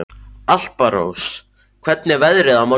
Alparós, hvernig er veðrið á morgun?